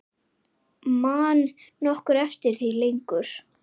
Man nokkur eftir því lengur?